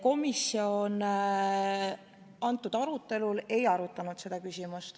Komisjon selle arutelu raames ei arutanud seda küsimust.